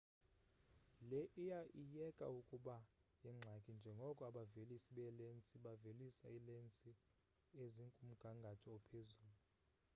le iya iyeka ukuba yingxaki njengoko abavelisi beelensi bevelisa iilensi ezikumgangatho ophezulu